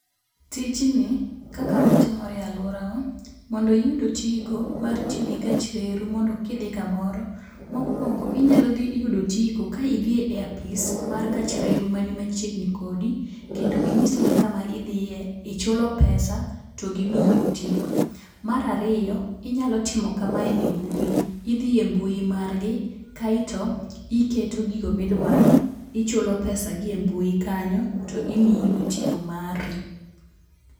Tijni kaka otimore e aluorawa, mondo iyud otiko mar tiyo gi gach reru mondo kidhi kamoro, mokuongo inyalo dhi yudo otiko ka idhi e apis mar gach reru mani machiegni kodi, kendo inyisogi kama idhiye, ichulo pesa to gimiyi otiko. Mar ariyo inyalo timo kamae e mbui. Idhi e mbui mar gi, kaeto iketo gigo midwaro, ichulo [cd] pesa gi embui kanyo, to imiyi otiko mari.